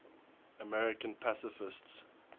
american pacifists